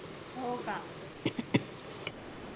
हो का